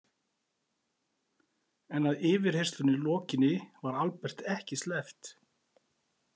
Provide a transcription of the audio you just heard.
En að yfirheyrslunni lokinni var Albert ekki sleppt.